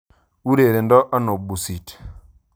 Ureredo ano busit